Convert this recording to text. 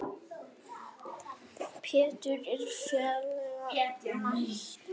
Pétur og félagar mæta.